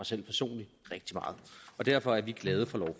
selv personligt rigtig meget derfor er vi glade for